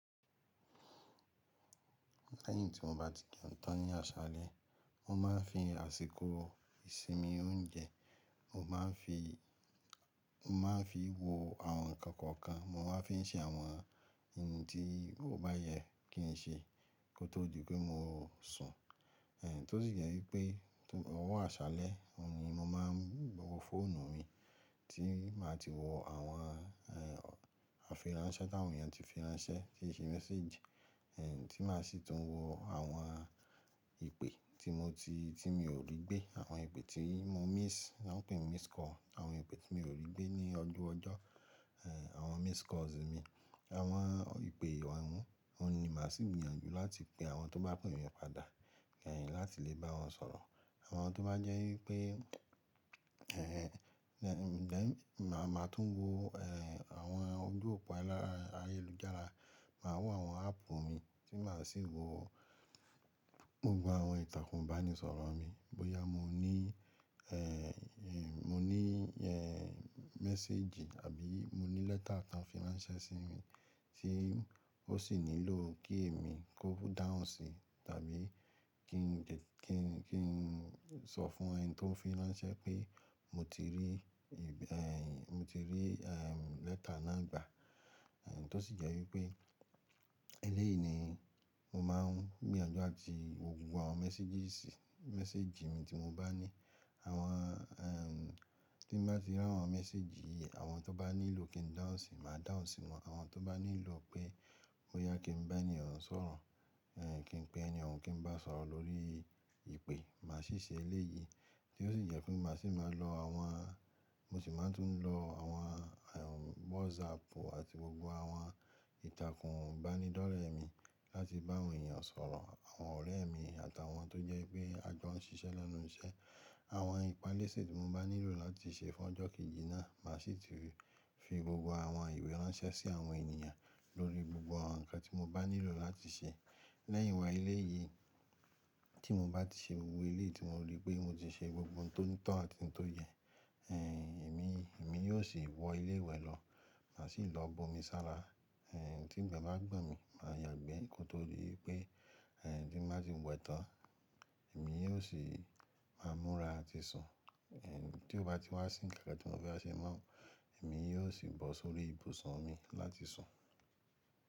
Lẹ́yìn tí mo bá ti jẹun tán ní aṣálẹ́, mo máa ń fi àsìkò ìsinmi oúnjẹ, mo máa ń fi, mo máa ń fi wo àwọn nǹkan kọ̀ọ̀kan, mo máa ń fi ṣe àwọn ohun tí o bá yẹ kí n ṣe kó tó di pé mo sùn. Tó sì jẹ́ wípé tó, ọwọ́ aṣálẹ́, òun ni mo máa ń wo fóònù mi tí màá ti wo àwọn, àfi ránṣẹ́ táwọn èèyàn ti fi ránṣẹ́, tíṣe message, tí màá sì tún wo àwọn ìpè tí mo ti, tí mi ò rí gbé, àwọn ìpè tí mo miss, lọn pé missed call, àwọn ìpè tí mi ò rí gbé ní ọju ọjọ́, àwọn missed calls mi, àwọn ìpè Òun ni màá sì gbìyànjú láti pe àwọn tó bá pè mi padà, láti lè bá wọn sọ̀rọ̀. Àwọn tó bá jẹ́ wípé, ẹ̀, then, màá tún wo, ẹ, àwọn ojú òpó ayelujára, màá wo àwọn app mi tí màá sì wo gbogbo àwọn ìtàkùn bánisọ̀rọ̀ mi. Bóyá mo ní, ẹ, mo ní, ẹ, message àbí mo ní lẹ́tà tọ fi ránṣẹ́ sí mi tí ó ṣì nílò kí èmi kó dáhún sí, tàbí kí n de, kí n, kí n sọ fún ẹni tó n fi ránṣẹ́ pé mo ti rí ẹ, mo ti rí, ẹ, lẹ́tà náà gbà. Tó ṣì jẹ́ wípé elẹ́yìí ni mo máa ń gbìyànjú láti wo gbogbo àwọn messages, message mi tí mo bá ní. Àwọn, ẹ, tí n bá ti rí àwọn message, àwọn tó bá nílò kí n dáhún sí, màá dáhún sí wọn. Àwọn tó bá nílò pé bóyá kí n bá ẹni òun sọ̀rọ̀, ẹ, kí n pe ẹni òun kí n bá sọ̀rọ̀ lórí ìpè, màá ṣì ṣe elẹ́yìí. Tí ó ṣì jẹ́ pé màá sì má lo àwọn, mo sì máa ń tún lo àwọn, ẹ, WhatsApp àti gbogbo àwọn ìtàkùn bánidọ́rẹ̀ mi láti bá àwọn èèyàn sọ̀rọ̀, àwọn ọ̀rẹ́ mi àtàwọn tó jẹ́ pé a jọ ń ṣiṣẹ́ lẹ́nu iṣẹ́. Àwọn ìpalésè tí mo bá nílò láti ṣe fún ọjọ́ kejì náà màá ṣì ti fi gbogbo àwọn ìwé ránṣẹ́ sí àwọn èniyàn lórí gbogbo àwọn nǹkan tí mo bá nílò láti ṣe. Lẹ́yìn wá elẹ́yìí tí mo bá ti ṣe gbogbo eléyìí tí mo rí pé mo ti ṣe gbogbo ohun tó ní to àti ohun tó yẹ, ẹ, èmi, èmi yóò sì wọ ilé wẹ lọ, màá sì lọ bu omi sára, ẹ, tí ìgbẹ́ bá gbọn mí, màá yàgbẹ́ kí ó tó di pé, ẹ, tí n bá ti wẹ tán, èmi yóò sì máa múra àti sùn. Ẹ, tí ó bá ti wá sí nkan kan tí mo fẹ́ wa ṣe mọ́, èmi yóò sì bọ́ sórí ibùsùn mi láti sùn.